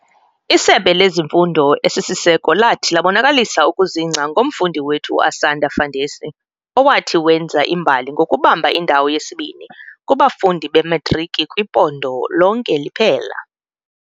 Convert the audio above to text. Isebe lezeMfundo esisiseko lathi labonakalisa ukuzingca ngomfundi wethu uAsanda Fandesi owathi wenza imbali ngokubamba indawo yesibini kubafundi beMatriki kwiphondo lonke liphela.